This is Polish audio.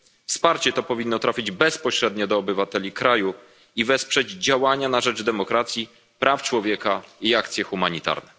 Wsparcie to powinno trafić bezpośrednio do obywateli kraju i wesprzeć działania na rzecz demokracji, praw człowieka i akcje humanitarne.